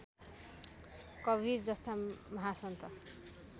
कवीर जस्ता महासन्त